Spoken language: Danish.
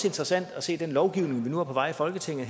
interessant at se den lovgivning vi nu har på vej i folketinget